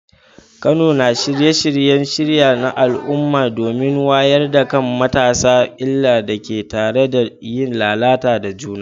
Kano na shirya shirye-shirye na al’umma domin wayar da kan matasa illar da ke tattare da yin lalata da juna.